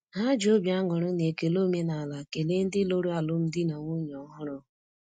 Ha ji obi aṅụrị na ekele omenaala kelee ndị lụrụ alụmdi na nwunye ọhụrụ.